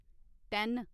ten